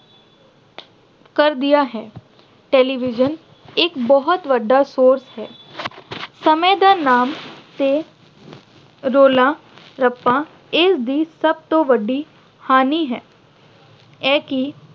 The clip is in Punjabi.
ਕਰ ਦਿੱਤਾ ਹੈ। television ਇੱਕ ਬਹੁਤ ਵੱਡਾ source ਹੈ। ਸਮੇਂ ਦਾ ਨਾਮ ਤੇ ਰੌਲਾ-ਰੱਪਾ ਇਸਦੀ ਸਭ ਤੋਂ ਵੱਡੀ ਹਾਨੀ ਹੈ। ਇਹ ਕੀ